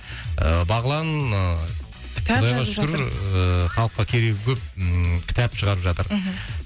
ы бағлан ыыы кітап жазып жатыр шүкір ыыы халыққа керегі көп ммм кітап шығарып жатыр мхм